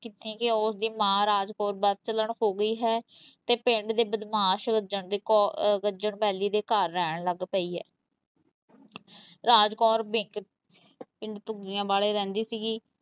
ਕੀਤੀ ਕਿ ਉਸ ਦੀ ਮਾਂ ਰਾਜ ਕੌਰ ਬਦਚਲਣ ਹੋ ਗਈ ਹੈ ਤੇ ਪਿੰਡ ਦੇ ਬਦਮਾਸ਼ ਗੱਜਣ ਦੇ ਕੋ ਅਹ ਗੱਜਣ ਵੈਲੀ ਦੇ ਘਰ ਰਹਿਣ ਲੱਗ ਪਈ ਹੈ ਰਾਜ ਕੌਰ ਪਿੰਡ ਧੁਗੀਆਂਵਾਲੇ ਰਹਿੰਦੀ ਸੀਗੀ।